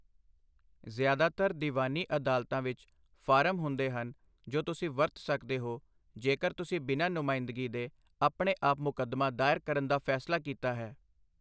ਜ਼ਿਆਦਾਤਰ ਦੀਵਾਨੀ ਅਦਾਲਤਾਂ ਵਿੱਚ ਫਾਰਮ ਹੁੰਦੇ ਹਨ ਜੋ ਤੁਸੀਂ ਵਰਤ ਸਕਦੇ ਹੋ, ਜੇਕਰ ਤੁਸੀਂ ਬਿਨਾਂ ਨੁਮਾਇੰਦਗੀ ਦੇ ਆਪਣੇ ਆਪ ਮੁਕੱਦਮਾ ਦਾਇਰ ਕਰਨ ਦਾ ਫੈਸਲਾ ਕੀਤਾ ਹੈ।